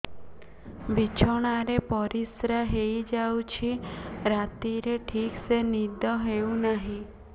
ବିଛଣା ରେ ପରିଶ୍ରା ହେଇ ଯାଉଛି ରାତିରେ ଠିକ ସେ ନିଦ ହେଉନାହିଁ